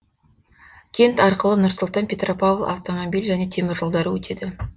кент арқылы нұр сұлтан петропавл автомобиль және темір жолдары өтеді